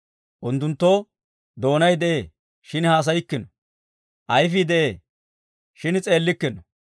Unttunttoo doonay de'ee, shin haasayikkino; ayifii de'ee, shin s'eellikkino.